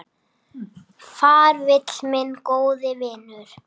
Far vel, minn góði vinur.